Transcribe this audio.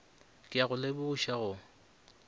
ke a go lebogiša go